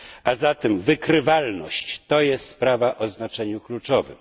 A zatem wykrywalność jest sprawą o znaczeniu kluczowym.